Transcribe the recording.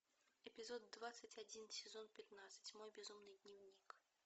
эпизод двадцать один сезон пятнадцать мой безумный дневник